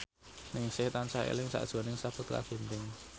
Ningsih tansah eling sakjroning Sakutra Ginting